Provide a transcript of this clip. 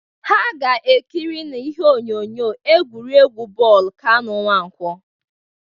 Ha ga-ekiri n'ihe onyonyo egwuregwu bọọlụ Kanụ Nwankwọ